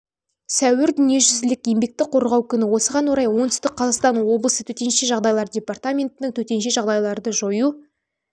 сәуір дүниежүзілік еңбекті қорғау күні осыған орай оңтүстік қазақстан облысы төтенше жағдайлар департаментінің төтенше жағдайларды жою